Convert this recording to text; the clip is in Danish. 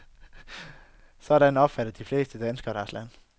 Sådan opfatter de fleste danskere deres land.